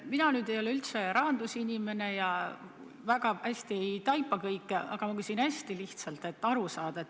Mina ei ole üldse rahandusinimene ja kõike väga hästi ei taipa, aga ma küsin hästi lihtsalt, et aru saada.